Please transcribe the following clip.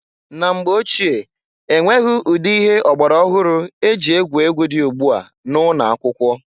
Na mgbe ochie, enweghị ụdị ihe ọgbara ọhụrụ e ji egwu egwu di ugbua na ụnọ akwụkwọ.